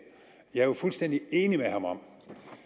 jeg er fuldstændig enig med at